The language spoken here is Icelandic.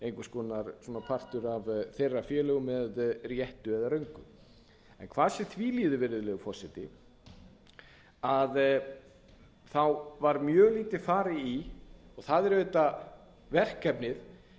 konar partur af þeirra félögum með réttu eða röngu hvað sem því líður virðulegur forseti var mjög lítið farið í og það er auðvitað verkefnið